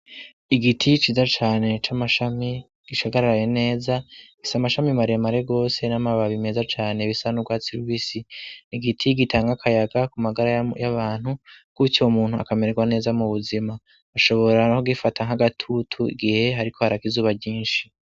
igiti ciza cane c'amashami gishagararaye neza isa mashami maremare gose n'amababi meza cane bisa nubwatsi rubisi n'igiti gitanga akayaga ku magara y'abantu kutyo umuntu akamerwa neza mu buzima ashobora no gifata nk'agatutu gihe hariko araka izuba ryinshi